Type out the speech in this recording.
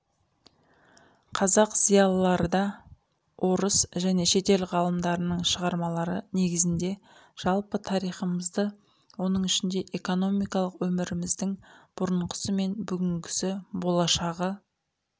қазақ зиялыларыда орыс және шетел ғалымдарының шығармалары негізінде жалпы тарихымызды оның ішіне экономикалық өміріміздің бұрынғысы мен бүгінгісі болашағы